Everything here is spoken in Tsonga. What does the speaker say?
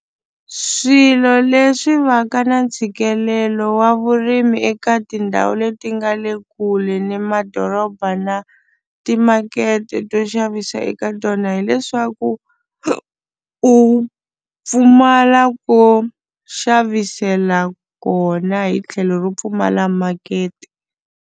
Swilo leswi va ka na ntshikelelo wa vurimi eka tindhawu leti nga le kule ni madoroba na timakete to xavisa eka tona hileswaku u pfumala ko xavisela kona hi tlhelo ro pfumala makete.